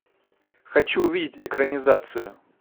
хочу увидеть экранизацию